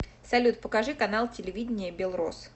салют покажи канал телевидения белрос